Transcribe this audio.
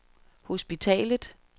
hospitalet